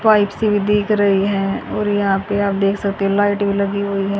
Pipe सी भी दिख रही है और यहां पे आप देख सकते हो लाइट भी लगी हुई है।